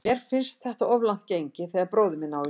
Mér finnst þetta of langt gengið þegar bróðir minn á í hlut.